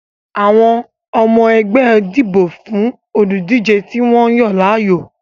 Àwọn ọmọ ẹgbẹ́ dìbò fún olùdíje tí wọ́n yàn láàyò